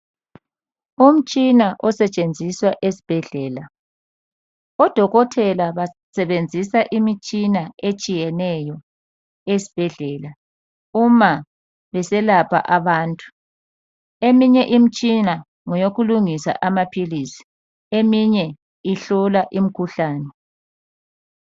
Umtshina osetshenziswa esibhedlela. Odokotela basebenzisa imtshina etshiyeneyo esibhedlela uma beselapha abantu. Eminye imitshina ngeyokulungisa amaphilisi. Eminye ihlola imkhuhlane.